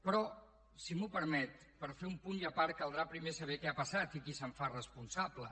però si m’ho permet per fer un punt i a part caldrà primer saber què ha passat i qui se’n fa responsable